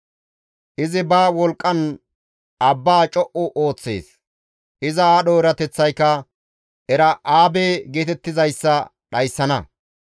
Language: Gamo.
Izi ba wolqqan abbaa co7u ooththees; iza aadho erateththayka Era7aabe geetettizayssa dhayssana.